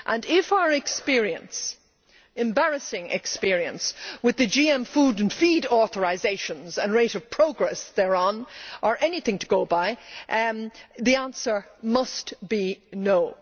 If our embarrassing experience with the GM food and feed authorisations and rate of progress thereon are anything to go by, the answer must be no'.